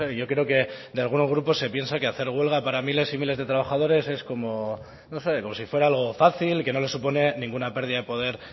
yo creo que de algunos grupos se piensan que hacer huelga para miles y miles de trabajadores es como no sé como si fuera algo fácil que no les supone ninguna pérdida de poder